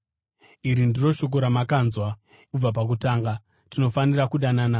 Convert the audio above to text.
Iri ndiro shoko ramakanzwa kubva pakutanga: Tinofanira kudanana.